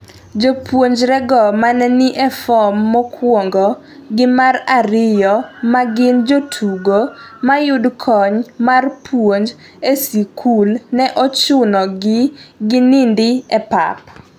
Jopuonjrego ma ne ni e form mokwongo gi mar ariyo ma gin jotugo mayud kony mar puonj e sikul ne ochuno gi gininido e pap